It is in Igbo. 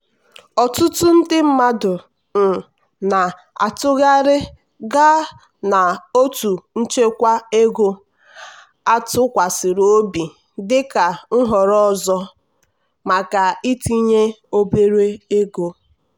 ọtụtụ ndị mmadụ um na-atụgharị gaa na otu nchekwa ego atụkwasịrị obi dịka nhọrọ ọzọ maka itinye obere ego.